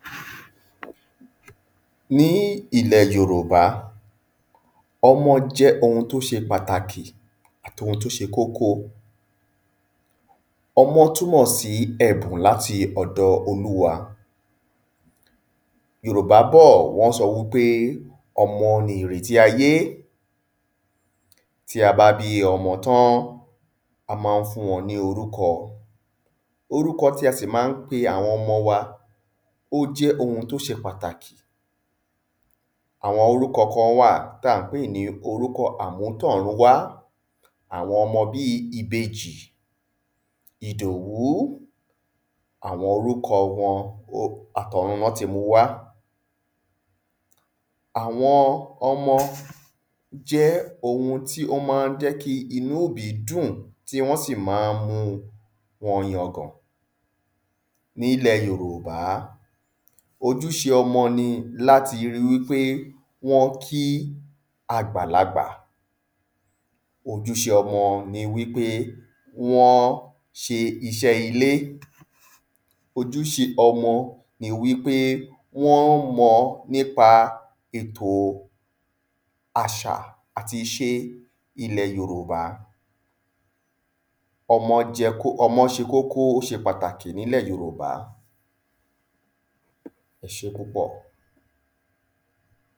﻿Ní ilè Yorùbá, ọmọ jẹ́ ohun tí ó ṣe pàtàkì àti ohun tí ó ṣe kókó. ọmọ túnmọ̀ sí ẹ̀bùn láti ọ̀dọ̀ Oluwa. Yòrùbá bọ̀, wọ́n sọ wípé ọmọ ni ìrẹ̀tí ayé. Tí a bá bí ọmọ tán, a má n fúnwọn ní orúkọ, orúkọ tí a sì má n pe àwọn ọmọ wa, ó jẹ́ ohun tí ó ṣe pàtàkì. Àwon orúkọ kán wà tí à n pè ní orúko àmútọ̀ruwá, àwọn ọmọ bí ìbejì, ìdòwú, àwọn orúko wọn, o, àtọ̀run lọ́ti mu wa. Àwọn ọmọ jẹ́ ohun tí ó má n jẹ́ kí inú òbí dùn, tí wọ́n sì má n mú wọn yangàn. Nílè Yorùbá, ojúṣe ọmọ ni láti ri wípé wọ́n kí àgbàlagbà, ojúṣe ọmọ ni wípé wọ́n ṣe isẹ́ ilé, ojúṣe ọmọ ni wípé wọ́n mọ nípa ètò àṣà àti ìṣe ilẹ̀ Yorùbá. ọmọ jẹ́ kó, ọmọ ṣe kókó, ó ṣe pàtàkì nílè Yorùbá, ẹṣẹ́ púpọ̀.